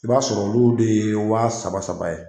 I b'a sɔrɔ olu de ye wa saba saba ye.